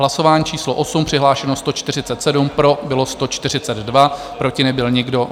Hlasování číslo 8, přihlášeno 147, pro bylo 142, proti nebyl nikdo.